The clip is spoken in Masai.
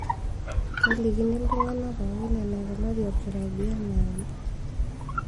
Kelikini iltungana pooki enaikunari olkirobi anaake.